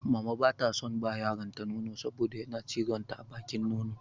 Mama ba ta son ba yaronta nono saboda yana cizon ta a bakin nono.